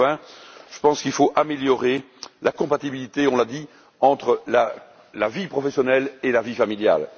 Enfin, je pense qu'il faut améliorer la compatibilité, on l'a dit, entre la vie professionnelle et la vie familiale.